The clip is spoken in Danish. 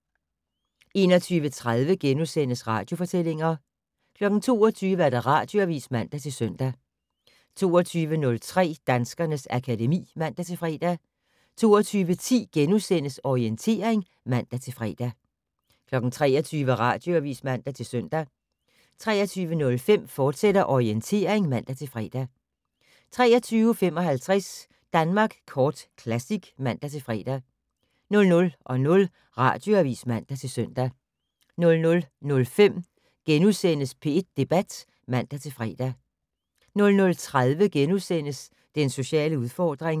21:30: Radiofortællinger * 22:00: Radioavis (man-søn) 22:03: Danskernes akademi (man-fre) 22:10: Orientering *(man-fre) 23:00: Radioavis (man-søn) 23:05: Orientering, fortsat (man-fre) 23:55: Danmark Kort Classic (man-fre) 00:00: Radioavis (man-søn) 00:05: P1 Debat *(man-fre) 00:30: Den sociale udfordring *